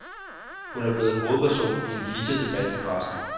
Hun er blevet hovedperson i en hidsig debat i pressen.